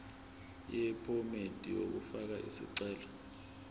yephomedi yokufaka isicelo